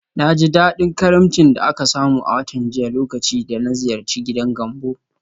Na ji daɗin karimcin da aka samu a watan jiya lokacin da na ziyarci gidan Gambo.